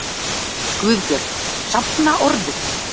GUÐBJÖRG: Safna orðum!